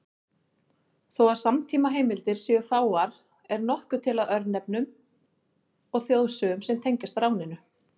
Þó að samtímaheimildir séu fáar er nokkuð til af örnefnum og þjóðsögum sem tengjast ráninu.